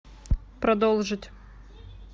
продолжить